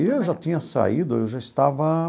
Eu já tinha saído, eu já estava...